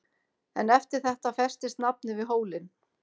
En eftir þetta festist nafnið við hólinn.